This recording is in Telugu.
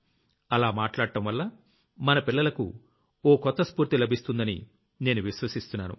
అలా మాట్లాడ్డంవల్ల మన పిల్లలకు ఓ కొత్త స్ఫూర్తి లభిస్తుందని నేను విశ్వసిస్తున్నాను